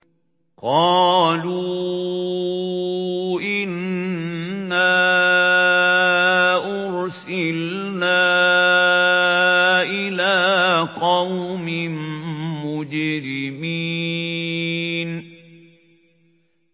قَالُوا إِنَّا أُرْسِلْنَا إِلَىٰ قَوْمٍ مُّجْرِمِينَ